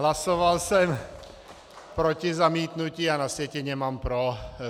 Hlasoval jsem proti zamítnutí, a na sjetině mám pro.